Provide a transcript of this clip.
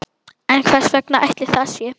En hvers vegna ætli það sé?